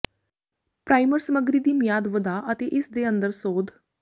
primer ਸਮੱਗਰੀ ਦੀ ਮਿਆਦ ਵਧਾ ਅਤੇ ਇਸ ਦੇ ਅੰਦਰ ਸੋਧ